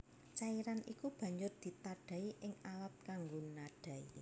Cairan iku banjur ditadhahi ing alat kanggo nadhahi